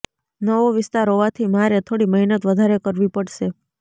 નવો વિસ્તાર હોવાથી મારે થોડી મહેનત વધારે કરવી પડશે